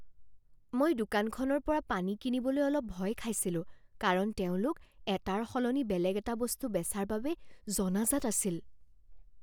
মই দোকানখনৰ পৰা পানী কিনিবলৈ অলপ ভয় খাইছিলোঁ কাৰণ তেওঁলোক এটাৰ সলনি বেলেগ এটা বস্তু বেচাৰ বাবে জনাজাত আছিল।